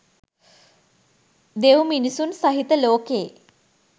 දෙව් මිනිසුන් සහිත ලෝකයේ